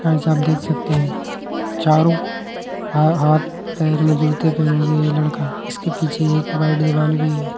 Guys आप देख सकते हैं। चारों ह हाथ पैर में जूते पहने हुए ये लड़का इसके पीछे एक वाइट दीवाल भी है।